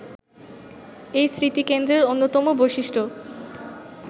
এই স্মৃতিকেন্দ্রের অন্যতম বৈশিষ্ট্য